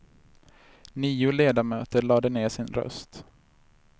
Nio ledamöter lade ner sin röst.